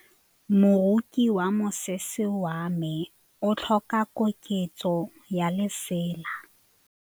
Moroki wa mosese wa me o tlhoka koketsô ya lesela.